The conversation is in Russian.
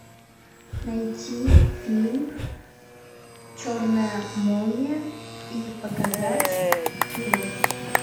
найти фильм черная молния и показать его